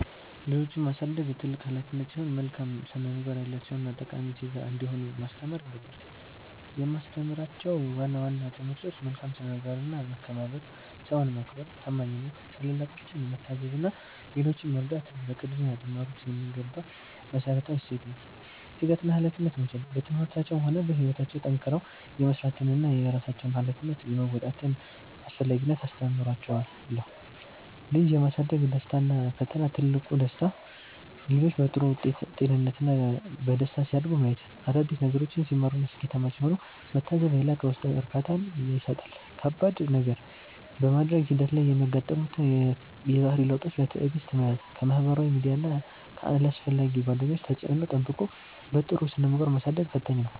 ልጆችን ማሳደግ ትልቅ ኃላፊነት ሲሆን፣ መልካም ስነ-ምግባር ያላቸውና ጠቃሚ ዜጋ እንዲሆኑ ማስተማር ይገባል። የማስተምራቸው ዋና ዋና ትምህርቶች፦ መልካም ስነ-ምግባርና መከባበር፦ ሰውን ማክበር፣ ታማኝነት፣ ታላላቆችን መታዘዝ እና ሌሎችን መርዳት በቅድሚያ ሊማሩት የሚገባ መሠረታዊ እሴት ነው። ትጋትና ኃላፊነት መውሰድ፦ በትምህርታቸውም ሆነ በሕይወታቸው ጠንክረው የመሥራትንና የራሳቸውን ኃላፊነት የመወጣትን አስፈላጊነት አስተምራቸዋለሁ። ልጅ የማሳደግ ደስታና ፈተና፦ ትልቁ ደስታ፦ ልጆች በጥሩ ጤንነትና በደስታ ሲያድጉ ማየት፣ አዳዲስ ነገሮችን ሲማሩና ስኬታማ ሲሆኑ መታዘብ የላቀ ውስጣዊ እርካታን ይሰጣል። ከባድ ነገር፦ በማደግ ሂደት ላይ የሚያጋጥሙትን የባህሪ ለውጦች በትዕግሥት መያዝ፣ ከማኅበራዊ ሚዲያና ከአላስፈላጊ ጓደኞች ተጽዕኖ ጠብቆ በጥሩ ስነ-ምግባር ማሳደጉ ፈታኝ ነው።